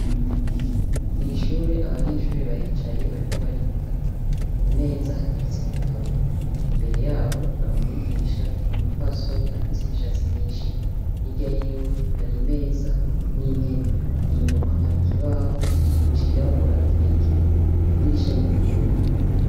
Mw’ishure abanyeshure baricaye bariko bariga , kumeza hateretse ibitabo, imbere yabo har!umwigisha, umupfasoni afis’imishatsi myinshi, hirya yiwe har’imeza n’intebe, inyuma har’ikibaho cirabura kirekire, idirisha riruguruye.